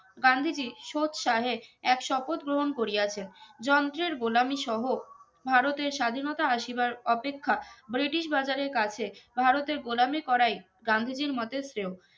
গান্ধীজি সৎসাহে এক স্বপথ গ্রহন করিয়াছে যন্তের গোলামি সহ ভারতের স্বাধীনতা আসিবার অপেক্ষা ব্রিটিশ বাজারে কাছে ভারতের গোলামি করাই গান্ধীজির মতে শ্রেয়